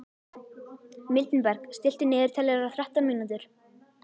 Mildinberg, stilltu niðurteljara á þrettán mínútur.